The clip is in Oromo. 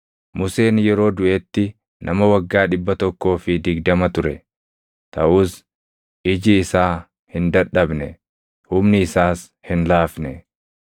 Museen yeroo duʼetti nama waggaa dhibba tokkoo fi digdama ture; taʼus iji isaa hin dadhabne; humni isaas hin laafne.